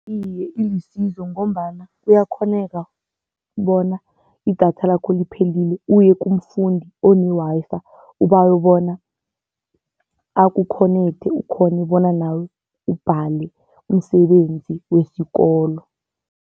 Iye, ilisizo ngombana kuyakghoneka bona idatha lakho liphelile uye kumfundi one-Wi-Fi ubawe bona akukhonekhthe ukghone ukubona nawe, ubhale umsebenzi wesikolo.